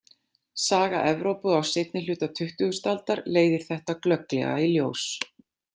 Saga Evrópu á seinni hluta tuttugustu aldar leiðir þetta glögglega í ljós.